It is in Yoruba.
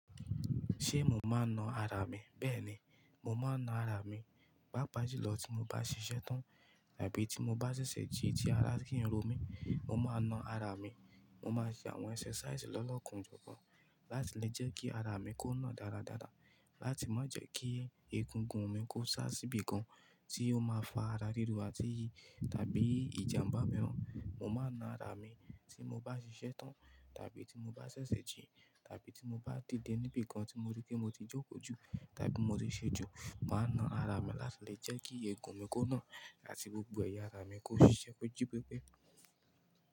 Ṣé mo máa ń na ara mi? Bẹ́ẹ̀ni, mo máa ń na ara mi. Pápa julọ tí mo bá ṣiṣẹ́ tán tàbí tí mo bá ṣẹ̀ṣẹ̀ jí ti ara sí n ro mí, mo máa na ara mi. Mo máa ṣe àwọn ẹ́sẹ̀sàísì lọ́lọ́kan ojọ̀kan láti lè jẹ́ kí ara mi kó nà dáradára, láti má jẹ́ kí egungun mi kó sá síbi kan tí ó máa fa ara ríro àti tàbí ìjàmbá miiràn. Mo máa na ara mi tí mo bá ṣiṣẹ́ tán tàbí tí mo bá ṣẹ̀ṣẹ̀ jí tàbí tí mo bá dìde níbi kan tí mo rí pé mo ti jókòó jù tàbí mo ti ṣẹ́jú, màá na ara mi láti lè jẹ́ kí egun mi kó nà àti gbogbo ẹ̀yà ara mi kó ṣiṣẹ́ ko jí pépé.